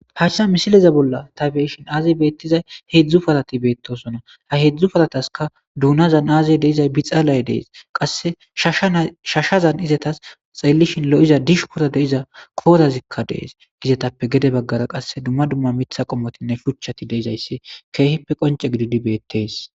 Paachsa misileza bolla ta beyishin aazey beettizay heedzdzu parati beettosona ha heedzdzu parataska duunazan aazey deizay bixaalay dees qasse shsshashazan izetas xeelishin lo7iza dishu kora deiza koorazikka dees gizetappe gede baggara qasse dumma dumma mitha qommotinne shuchchati deizayssi keehippe qonce gididi beettees.